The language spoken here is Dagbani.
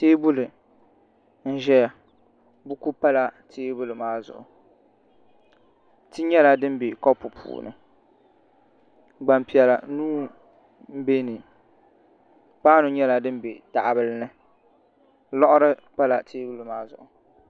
Teebuli n ʒɛya buku pala teebuli maa zuɣu ti nyɛla dim bɛ kopu puuni gbanpiɛla nuu n bɛ bi paanu nyɛla din bɛ tahabili ni liɣiri pala teebuli maa zuɣu